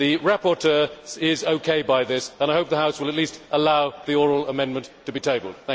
The rapporteur is OK by this, and I hope the House will at least allow the oral amendment to be tabled.